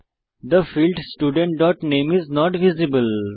the field student dot নামে is not visible